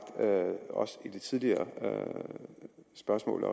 også i de tidligere spørgsmål